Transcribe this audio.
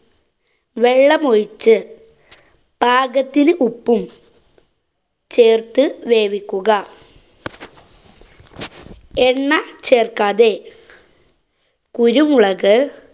വെള്ളം ഒഴിച്ച് പാകത്തിന് ഉപ്പും ചേര്‍ത്തു വേവിക്കുക. എണ്ണ ചേര്‍ക്കാതെ കുരുമുളക്